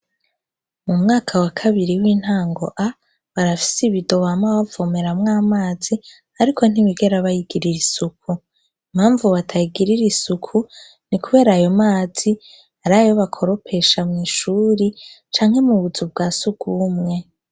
Mu mwaka wa kabiri w' intango A, barafise ibido bama bavomeramwo amazi, ariko ntibigera bayigirira isuku. Impamvu batayigirira isuku, ni kubera ayo mazi arayo bakoresha mw' ishuri, canke mu buzu bwa surwumwe.